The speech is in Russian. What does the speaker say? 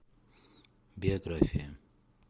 биография